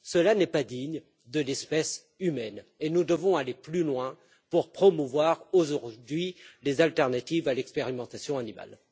Cela n'est pas digne de l'espèce humaine et nous devons aller plus loin pour promouvoir aujourd'hui les alternatives à l'expérimentation animale.